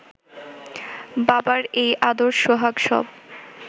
বাবার এই আদর সোহাগ সব